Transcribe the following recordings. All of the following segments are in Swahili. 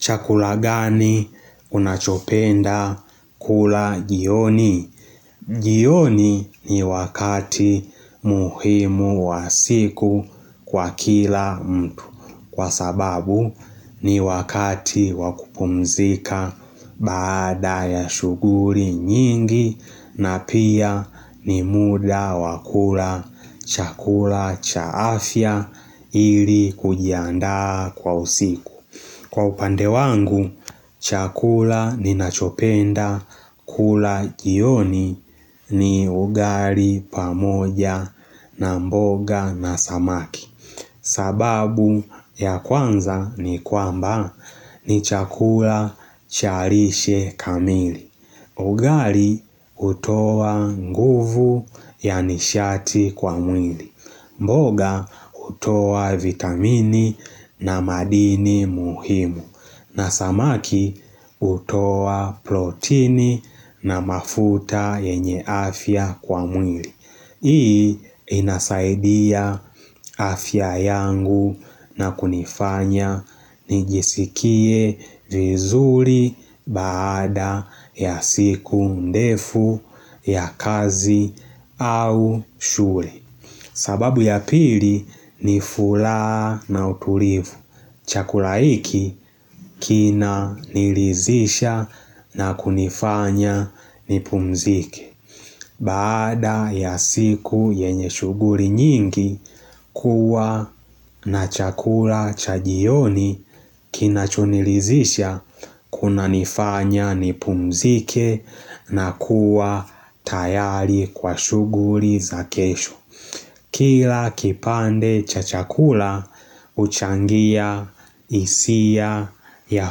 Chakula gani unachopenda kula jioni? Jioni ni wakati muhimu wa siku kwa kila mtu. Kwa sababu ni wakati wa kupumzika baada ya shughuli nyingi na pia ni muda wa kula chakula cha afya ili kujiandaa kwa usiku. Kwa upande wangu, chakula ninachopenda kula jioni ni ugali pamoja na mboga na samaki. Sababu ya kwanza ni kwamba ni chakula cha lishe kamili. Ugali hutoa nguvu ya nishati kwa mwili. Mboga utoa vitamini na madini muhimu. Na samaki hutoa protini na mafuta yenye afya kwa mwili. Hii inasaidia afya yangu na kunifanya nijisikie vizuri baada ya siku ndefu ya kazi au shughuli sababu ya pili ni furaha na utulivu. Chakulahiki kina nilizisha na kunifanya nipumzike. Bada ya siku yenye shughuli nyingi kuwa na chakula cha jioni kinachonilizisha kuna nifanya nipumzike na kuwa tayari kwa shughuli za kesho. Kila kipande cha chakula huchangia hisia ya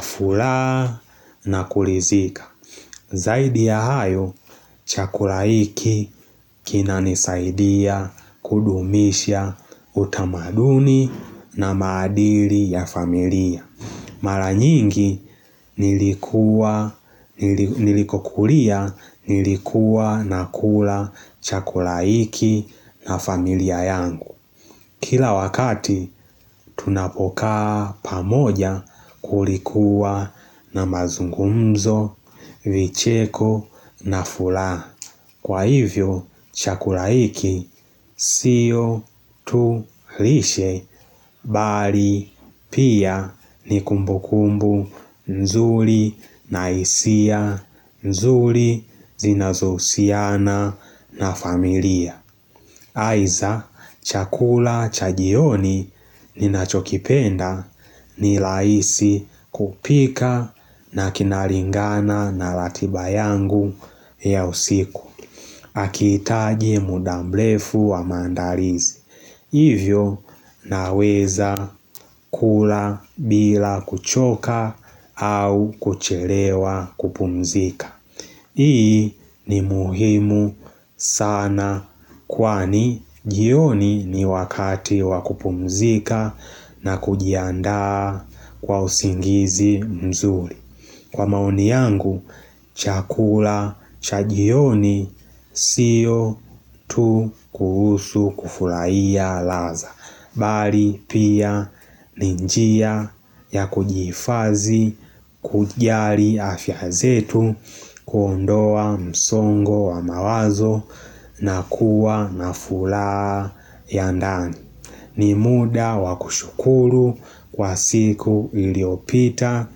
furahana kulizika Zaidi ya hayo chakula hiki kina nisaidia kudumisha utamaduni na madili ya familia Mara nyingi nilikuwa nilikokulia nilikua na kula chakula iki na familia yangu Kila wakati, tunapokaa pamoja kulikuwa na mazungumzo, vicheko na furaha. Kwa hivyo, chakula hiki, siyo tu lishe, bali, pia, ni kumbu kumbu, nzuri, na hisia, nzuri, zinazohusiana, na familia. Aidha chakula cha jioni ninachokipenda ni rahisi kupika na kinalingana na ratiba yangu ya usiku. Hakiitaji muda mrefu wa maandalizi. Hivyo naweza kula bila kuchoka au kuchelewa kupumzika. Hii ni muhimu sana kwani jioni ni wakati wakupumzika na kujiandaa kwa usingizi mzuri. Kwa maoni yangu, chakula cha jioni sio tu kuhusu kufurahia ladha. Bali pia ni njia ya kujiifadhii, kujali afya zetu, kuondoa msongo wa mawazo na kuwa na furaha ya ndani. Ni muda wa kushukuru kwa siku iliopita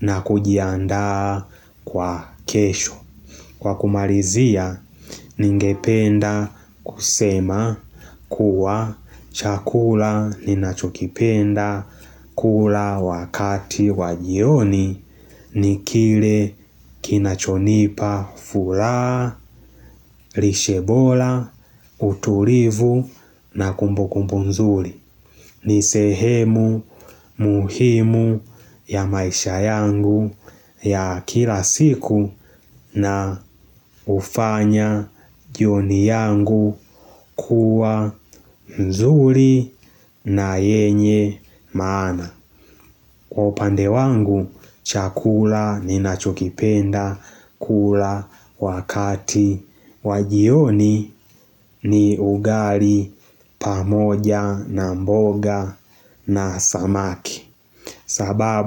na kujiandaa kwa kesho Kwa kumalizia, ningependa kusema kuwa chakula ninachokipenda kula wakati wajioni ni kile kinachonipa furaha, lishe bora, utulivu na kumbu kumbu nzuri. Ni sehemu muhimu ya maisha yangu ya kila siku na hufanya jioni yangu kuwa nzuri na yenye maana. Kwa upande wangu chakula ninachokipenda kula wakati wajioni ni ugali pamoja na mboga na samaki sababu.